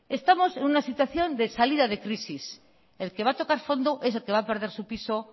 estamos en una situación de salida de crisis el que va a tocar fondo es el que va a perder su piso